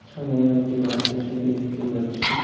সামোনে একটি কারেন্টের সিঁড়ি দেখতে পাচ্ছি।